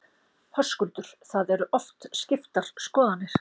Höskuldur: Það eru oft skiptar skoðanir?